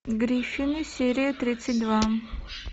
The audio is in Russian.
гриффины серия тридцать два